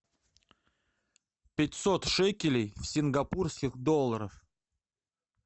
пятьсот шекелей в сингапурских долларах